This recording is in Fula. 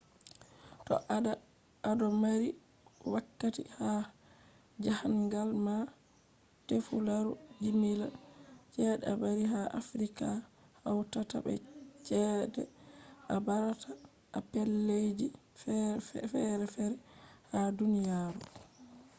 to ado mari wakkati ha jahangal ma tefu laru jimila chede a bari ha afirika hautata be ceede a barata a pellel ji ferefere ha duniyaro